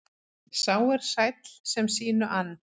Sá er sæll sem sínu ann.